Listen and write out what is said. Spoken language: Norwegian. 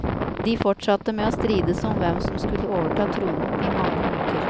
De fortsatte med å strides om hvem som skulle overta tronen i mange uker.